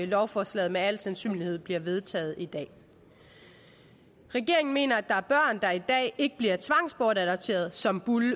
lovforslaget med al sandsynlighed bliver vedtaget i dag regeringen mener at der er børn der i dag ikke bliver tvangsbortadopteret som burde